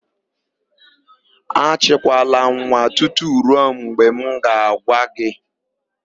Achịkwala nwa tutu ruo mgbe m ga-agwa gị!